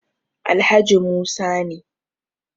Alhaji Musa ne